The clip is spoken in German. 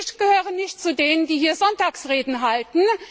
Ich gehöre nicht zu denen, die hier Sonntagsreden halten.